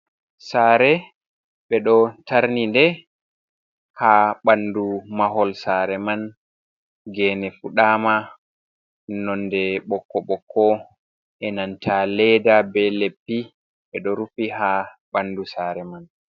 Saare, ɓe ɗo tarnide, ha ɓandu mahol saare man gene fuɗama nonde bokko bokko enanta leda be leddi ɓe ɗo rufi ha ɓandu sare man.